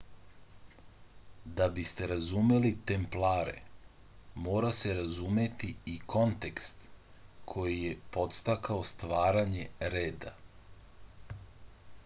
da biste razumeli templare mora se razumeti i kontekst koji je podstakao stvaranje reda